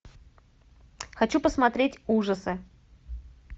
хочу посмотреть ужасы